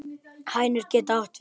Hænir getur átt við